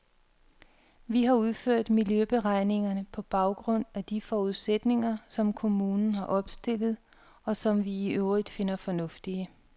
Vi har udført miljøberegningerne på baggrund af de forudsætninger, som kommunen har opstillet, og som vi i øvrigt finder fornuftige.